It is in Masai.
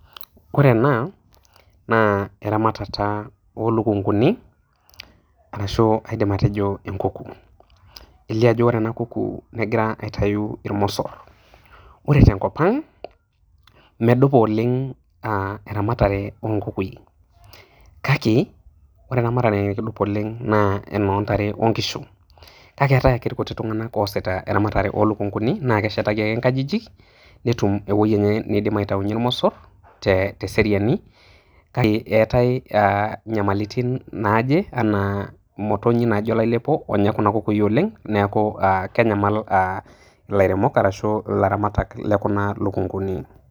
Ore ena, naa eramatata olukunkuni, ashu kaidim atejo enkuku. Elio ajo ore ena kuku negira aitayu irmosor. Ore tenkop ang',medupa oleng' eramatare onkukui. Kake, ore eramatare nikidup oleng' naa enoontare onkishu. Kake eetae ake irkuti tung'anak oosita eramatare olukunkuni, na keshetaki ake nkajijik, netum ewoi enye nidim aitaunye irmosor, teseriani, kake eetae nyamalitin naaje, enaa imotonyi naijo olailepo onya kuna kuna kukui oleng', neeku kenyamal ilairemok arashu ilaramatak lekuna lukunkuni.